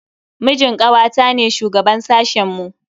Mijin kawata ne shugaban sashen mu.